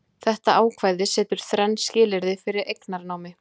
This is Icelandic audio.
þetta ákvæði setur þrenn skilyrði fyrir eignarnámi